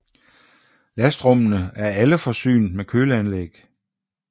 Lastrummene er alle forsynet med køleanlæg